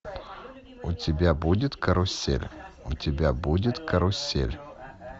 у тебя будет карусель у тебя будет карусель